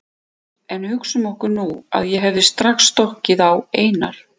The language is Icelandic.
En hugsum okkur nú að ég hefði strax stokkið á Einar